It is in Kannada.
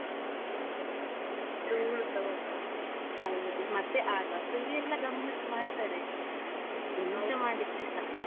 ಹೌದು ಮತ್ತೆ ಆಳ್ವಾಸ್ ಅಲ್ಲಿ ಎಲ್ಲಾ ಗಮ್ಮತ್ ಮಾಡ್ತಾರೆ ಆಯ್ತಾ ಎಂತ ಮಾಡಿದ್ರೆಸ.